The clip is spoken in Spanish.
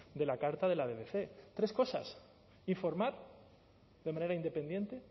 de la carta de la bbc tres cosas informar de manera independiente